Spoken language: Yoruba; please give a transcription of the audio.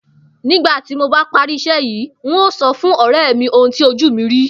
Nígbà tí mob á parí is̩é̩ yìí, n óò so̩ fún ò̩ré̩ mi ohun tí ojú mi ri